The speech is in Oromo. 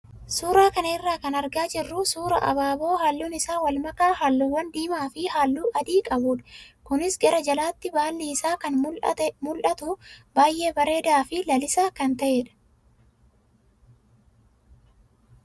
Suuraa kana irraa kan argaa jirru suuraa abaaboo halluun isaa wal makaa halluuwwan diimaa fi halluu adii qabudha. Kunis gara jalaatti baalli isaa kan mul'atu baay'ee bareedaa fi lalisaa kan ta'edha.